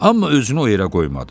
Amma özünü o yerə qoymadı.